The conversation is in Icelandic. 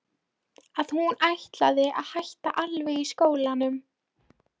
Að hún ætlaði að hætta alveg í skólanum.